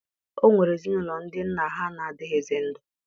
O nwere ezinụlọ ndị nna ha na-adịghịzị ndụ